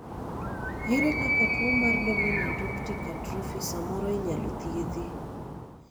ere kaka tuo mar Dominant optic atrophy samoro inyalo thiedhi?